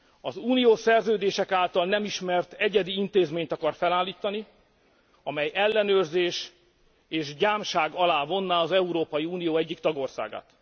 Az uniós szerződések által nem ismert egyedi intézményt akar felállítani, amely ellenőrzés és gyámság alá vonná az Európai Unió egyik tagországát.